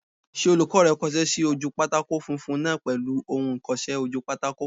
Ṣé olùkọ́ rẹ kọsẹ́ sí ojú pátákó funfun náà pèlú ohun ìkọsẹ́-ojúpátákó?